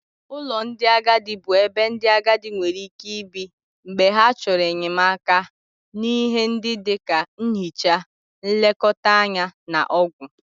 Ụlọ ndị agadi bụ ebe ndị agadi nwere ike ibi mgbe ha chọrọ enyemaka n'ihe ndị dị ka nhicha, nlekọta anya na ọgwụ.